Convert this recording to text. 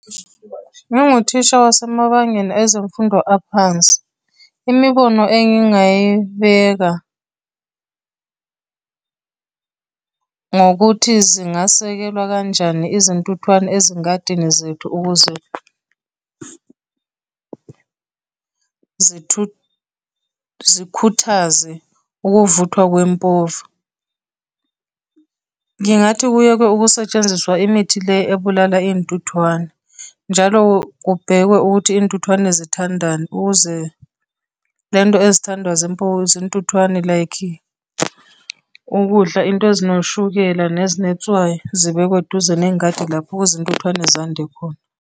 Uma nguthisha wasemabangeni ezemfundo aphansi, imibono engingayibeka ngokuthi zingasekelwa kanjani izintuthwane ezingadingi zethu ukuze zikhuthaze ukuvuthwa kwempova. Ngingathi kuyekwe ukusetshenziswa imithi le ebulala iy'ntuthwane, njalo kubhekwe ukuthi iy'ntuthwane zithandani, ukuze lento ezithandwa zintuthwane, like ukudla, into ezinoshukela nezinetswayi, zibekwe duze nengadi lapho ukuze intuthwane zande khona.